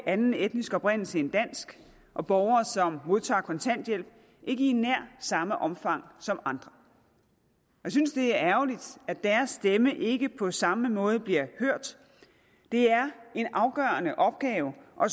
anden etnisk oprindelse end dansk og borgere som modtager kontanthjælp ikke i nær samme omfang som andre jeg synes det er ærgerligt at deres stemme ikke på samme måde bliver hørt det er en afgørende opgave at